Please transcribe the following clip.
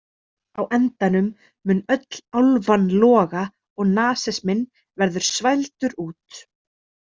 Á endanum mun öll álfan loga og nasisminn verður svældur út.